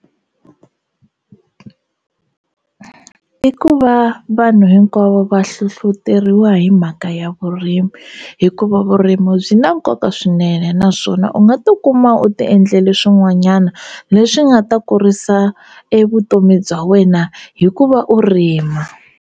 I ku va vanhu hinkwavo va hlohloteriwa hi mhaka ya vurimi hikuva vurimu byi na nkoka swinene naswona u nga tikuma u tiendlele swin'wanyana leswi nga ta kurisa e vutomi bya wena hi ku va u rima.